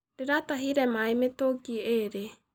Ndĩratahire maĩ mĩtũngi ĩĩrĩ.